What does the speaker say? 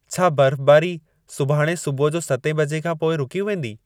छा बर्फ़बारी सुभाणु सुबुह जो सतें बजे खां पोइ रूकी वेंदी